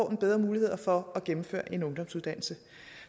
en bedre mulighed for at gennemføre en ungdomsuddannelse